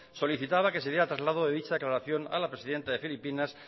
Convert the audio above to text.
solicitada que sería el traslado de dicha declaración a la presidenta de filipinas